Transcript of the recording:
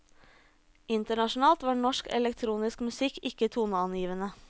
Internasjonalt var norsk elektronisk musikk ikke toneangivende.